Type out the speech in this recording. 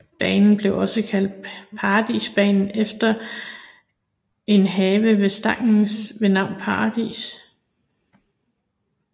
Banen blev også kaldt Paradisbanen efter en have ved Stangnes ved navn Paradis